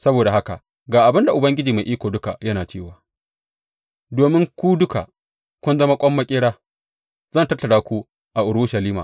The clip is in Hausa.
Saboda haka ga abin da Ubangiji Mai Iko Duka yana cewa, Domin ku duka kun zama ƙwan maƙera, zan tattara ku a Urushalima.